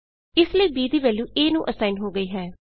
ਇਸ ਲਈ b ਦੀ ਵੈਲਯੂ a ਨੂੰ ਅਸਾਈਨ ਹੋ ਗਈ ਹੈ